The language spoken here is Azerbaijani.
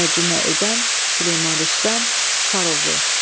Tərcümə edən Süleyman Rüstəm Sarıoğlu.